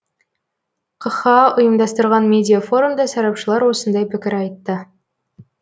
қха ұйымдастырған медиа форумда сарапшылар осындай пікір айтты